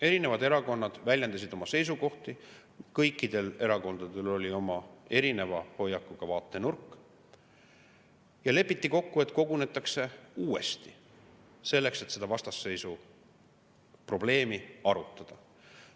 Erinevad erakonnad väljendasid oma seisukohti, kõikidel erakondadel oli oma erineva hoiakuga vaatenurk ja lepiti kokku, et kogunetakse uuesti, selleks et seda vastasseisu probleemi arutada.